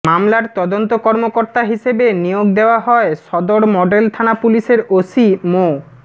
মামলার তদন্ত কর্মকর্তা হিসেবে নিয়োগ দেওয়া হয় সদর মডেল থানা পুলিশের ওসি মো